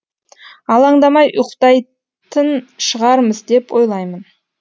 алаңдамай ұйықтайтын шығармыз деп ойлаймын